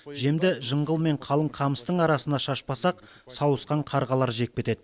жемді жыңғыл мен қалың қамыстың арасына шашпасақ сауысқан қарғалар жеп кетеді